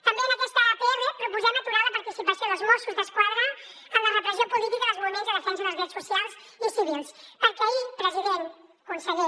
també en aquesta pr proposem aturar la participació dels mossos d’esquadra en la repressió política dels moviments de defensa dels drets socials i civils perquè ahir president conseller